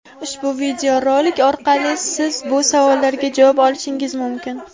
Ushbu video rolik orqali siz bu savollarga javob olishingiz mumkin!.